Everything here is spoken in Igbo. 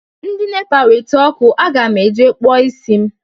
Ndị nepa weta ọkụ, aga m eje kpụọ isi m